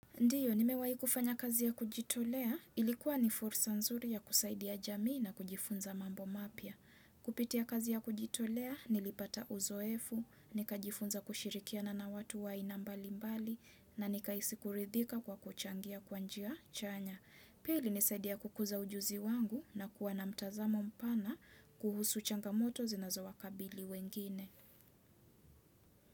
Ndiyo, nimewahi kufanya kazi ya kujitolea, ilikuwa ni fursa nzuri ya kusaidia jamii na kujifunza mambo mapya. Kupitia kazi ya kujitolea, nilipata uzoefu, nikajifunza kushirikia na watu wa aina mbali mbali, na nikahisi kuridhika kwa kuchangia kwa njia chanya. Pia ilinisaidia kukuza ujuzi wangu nakuwa na mtazamo mpana kuhusu changamoto zinazo wakabili wengine.